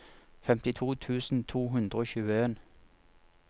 femtito tusen to hundre og tjueen